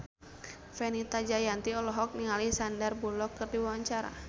Fenita Jayanti olohok ningali Sandar Bullock keur diwawancara